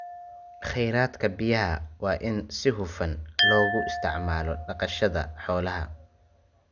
Kheyraadka biyaha waa in si hufan loogu isticmaalo dhaqashada xoolaha.